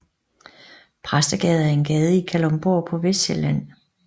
Præstegade er en gade i Kalundborg på Vestsjælland